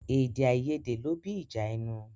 Èdè àìyédè ló bí ìjà ẹnu.